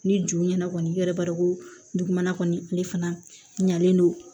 Ni juru ɲɛna kɔni i yɛrɛ b'a dɔn ko dugumana kɔni ale fana ɲalen don